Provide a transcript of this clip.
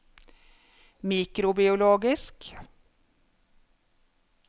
mikrobiologisk